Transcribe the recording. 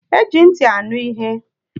Eji ntị anụ ihe.